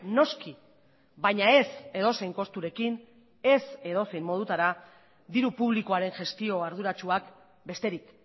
noski baina ez edozein kosturekin ez edozein modutara diru publikoaren gestio arduratsuak besterik